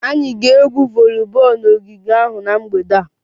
Anyị ga-egwu voliboolu n'ogige ahụ na mgbede a